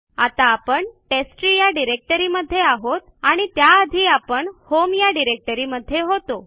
आता आपण टेस्टट्री या डिरेक्टरी मध्ये आहोत आणि त्या आधी आपण होम या डिरेक्टरीमध्ये होतो